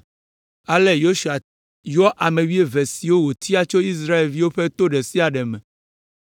Ale Yosua yɔ ame wuieve siwo wòtia tso Israel ƒe to ɖe sia ɖe me,